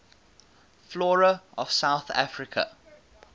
flora of south africa